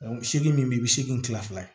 seegin min be yen bi seegin tila